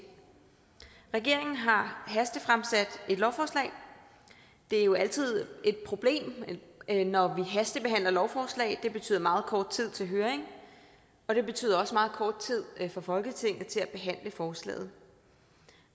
regeringen har hastefremsat et lovforslag det er jo altid et problem når vi hastebehandler lovforslag det betyder meget kort tid til høring og det betyder også meget kort tid for folketinget til at behandle forslaget